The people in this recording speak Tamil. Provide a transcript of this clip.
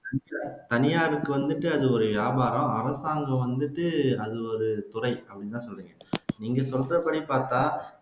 தனியாருக்கு வந்துட்டு அது ஒரு வியாபாரம் அரசாங்கத்துக்கு வந்துட்டு அது ஒரு துறை அப்படின்னுதான சொன்னீங்க நீங்க சொல்றபடி பாத்தா